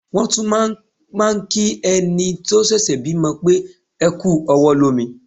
Wọ́n tún máà ń kí ẹni tó ṣẹ̀ṣẹ̀ bímọ pé "ẹ kú ọwọ́ lómi".